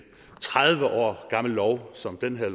tredive år gammel lov som den her